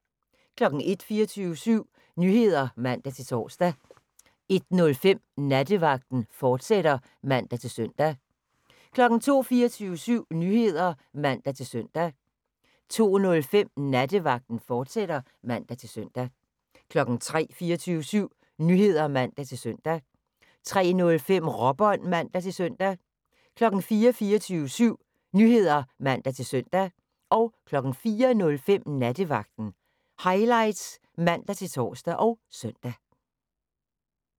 01:00: 24syv Nyheder (man-søn) 01:05: Nattevagten, fortsat (man-søn) 02:00: 24syv Nyheder (man-søn) 02:05: Nattevagten, fortsat (man-søn) 03:00: 24syv Nyheder (man-søn) 03:05: Råbånd (man-søn) 04:00: 24syv Nyheder (man-søn) 04:05: Nattevagten Highlights (man-tor og søn)